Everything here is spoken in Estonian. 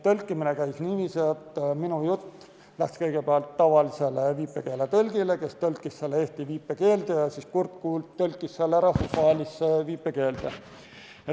Tõlkimine käis niiviisi, et minu jutu tõlkis kõigepealt tavaline viipekeeletõlk eesti viipekeelde ja siis kurt tõlk tõlkis selle rahvusvahelisse viipekeelde.